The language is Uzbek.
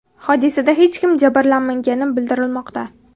Hodisada hech kim jabrlanmagani bildirilmoqda.